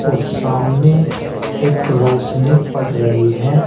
और सामने एक रोशनी पड़ रही है।